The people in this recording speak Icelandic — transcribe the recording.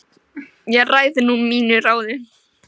Ég ræð nú mínu ráði